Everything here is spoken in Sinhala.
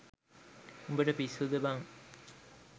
උඹට පිස්සුද බං.